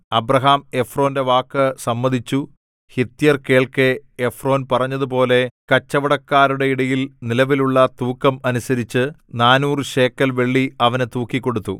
Abraham എഫ്രോന്റെ വാക്ക് സമ്മതിച്ചു ഹിത്യർ കേൾക്കെ എഫ്രോൻ പറഞ്ഞതുപോലെ കച്ചവടക്കാരുടെയിടയിൽ നിലവിലുള്ള തൂക്കം അനുസരിച്ച് നാനൂറ് ശേക്കെൽ വെള്ളി അവന് തൂക്കിക്കൊടുത്തു